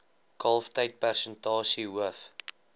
kalftyd persentasie hoof